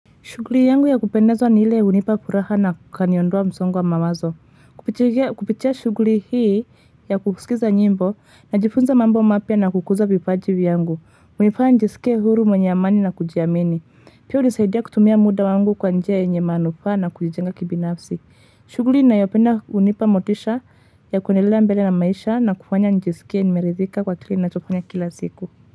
Shuguli yangu ya kupendezwa ni hile unipa kuraha na kaniondoa msongo wa mawazo. Kupitia shuguli hii ya kukusikiza nyimbo, na jifunza mambo mapia na kukuza vipaji vyangu. Unipa njisikia huru mwenye amani na kujiamini. Pia nisaidia kutumia muda wangu kwa nja yenye manufa na kujijenga kibinafsi. Shuguli na yopenda unipa motisha ya kwenyelea mbele na maisha na kufanya njisikia nimerizika kwa tuli na chofanya kila siku.